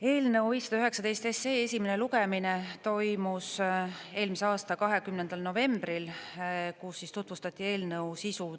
Eelnõu 519 esimene lugemine toimus eelmise aasta 20. novembril, kus tutvustati eelnõu sisu.